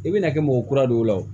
I bɛna kɛ mɔgɔ kura dɔw ye wo